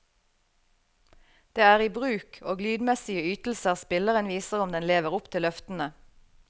Det er i bruk og lydmessige ytelser spilleren viser om den lever opp til løftene.